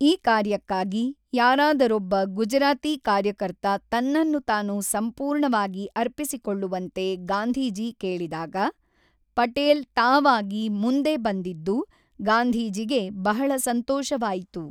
ಈ ಕಾರ್ಯಕ್ಕಾಗಿ ಯಾರಾದರೊಬ್ಬ ಗುಜರಾತಿ ಕಾರ್ಯಕರ್ತ ತನ್ನನ್ನು ತಾನು ಸಂಪೂರ್ಣವಾಗಿ ಅರ್ಪಿಸಿಕೊಳ್ಳುವಂತೆ ಗಾಂಧೀಜಿ ಕೇಳಿದಾಗ ಪಟೇಲ್ ತಾವಾಗಿ ಮುಂದೆಬಂದಿದ್ದು ಗಾಂಧೀಜಿಗೆ ಬಹಳ ಸಂತೋಷವಾಯಿತು.